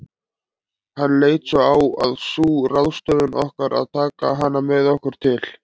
Hann leit svo á að sú ráðstöfun okkar að taka hana með okkur til